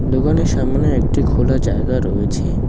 দোকানের সামনে একটি খোলা জায়গা রয়েছে।